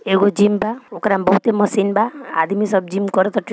एगो जिम बा ओकरा मे बहुते मशीन बा आदमी सब जिम करा --